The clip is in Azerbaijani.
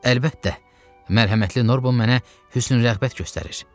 Əlbəttə, mərhəmətli Norbon mənə hüsnürəğbət göstərir.